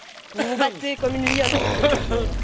Vous vous battez comme une lionne pour qu'il revienne.